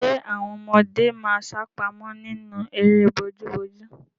Ṣẹ àwọn ọmọdé máa sápamọ́ nínú eré bojúbojú?